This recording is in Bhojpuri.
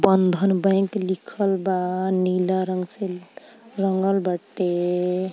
बंधन बैंक लिखल बा। नीला रंग से रंगल बाटे।